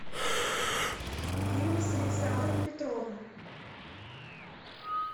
фильмы с александром петровым